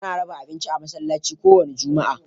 Ana raba abinci a masallci ko wanda juma'a..